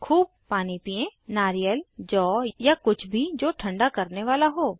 खूब पानी पियें नारियल जौ या कुछ भी जो ठंडा करने वाला हो